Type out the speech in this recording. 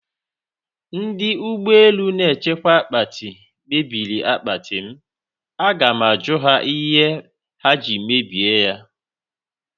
Ndị ụgbọ elu na-echekwa akpati mebiri akpati m, Agam ajụ ha ihe ha ji mebie ya